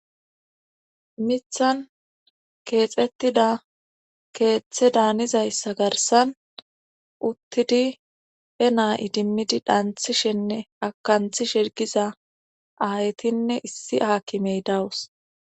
mithan keexettida keeththe daanizayssa garsan uttidi he naa idimmidi dhanthishenne akanthi shirgiza aaytinne issi haakimey dawus